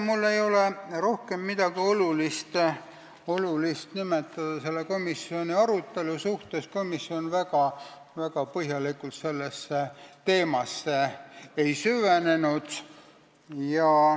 Mul ei ole rohkem midagi olulist nimetada selle komisjoni arutelu kohta, komisjon väga põhjalikult sellesse teemasse ei süvenenud.